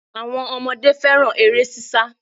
Àwọn ọmọdé fẹ́ràn eré ṣíṣá